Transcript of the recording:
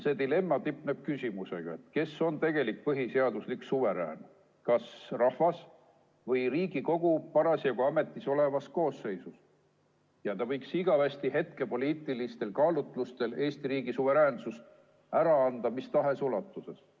See dilemma tipneb küsimusega, kes on tegelik põhiseaduslik suverään, kas rahvas või Riigikogu parasjagu ametis oleva koosseisuna, kes võiks hetkepoliitilistel kaalutlustel igaveseks ajaks Eesti riigi suveräänsust ära anda mis tahes ulatuses.